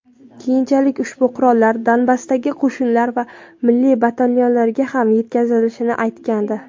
keyinchalik ushbu qurollar Donbassdagi qo‘shinlar va milliy batalonlarga ham yetkazilishini aytgandi.